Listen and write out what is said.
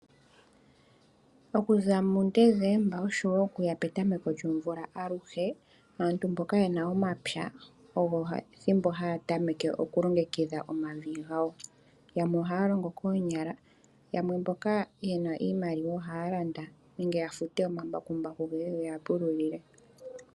Oku za muDecemba osho woo okuya petameko lyomvula aluhe, aantu mboka ye na omapya ogo ethimbo haya tameke okulongekidha omavi gawo. Yamwe ohaya longo koonyala yamwe mboka ye na iimaliwa ohaya landa nenge ya fute omambakumbaku ge ye ge ya pululile.